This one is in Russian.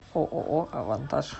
ооо авантаж